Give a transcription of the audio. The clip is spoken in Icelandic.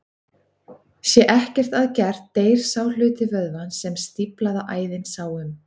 Sé ekkert að gert deyr sá hluti vöðvans sem stíflaða æðin sá um.